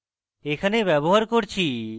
এখানে ব্যবহার করছি